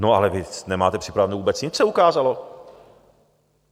No ale vy nemáte připraveno vůbec nic, se ukázalo.